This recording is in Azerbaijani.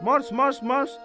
Marş, marş, marş!